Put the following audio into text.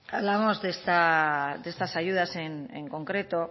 hablamos de estas ayudas en concreto